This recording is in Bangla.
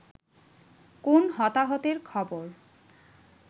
কোন হতাহতের খবর